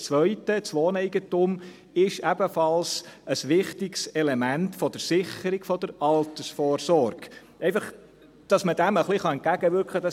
Und das Zweite: Das Wohneigentum ist ebenfalls ein wichtiges Element der Sicherung der Altersvorsorge – einfach, damit man dem ein wenig entgegenwirken kann.